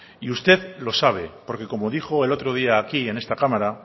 y usted lo sabe porque como dijo el otro día aquí en esta cámara